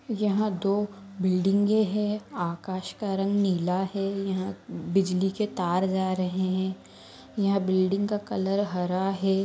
यहाँ दो बिल्डिंग हैआकाश का रंग नीला है यहाँ बिजली के तार जा रहे है यह बिल्डिंग का कलर हरा है।